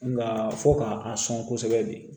Nka fɔ k'a a sɔn kosɛbɛ de